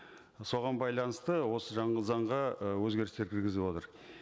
соған байланысты осы заңға ы өзгерістер кіргізіп отыр